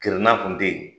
Kirina kun tɛ yen